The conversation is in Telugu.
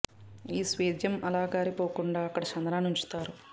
ఈ స్వేదం అలా కారి పోకుండా అక్కడ చందనాన్ని ఉంచుతారు